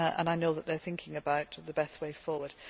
I know that they are thinking about the best way forward.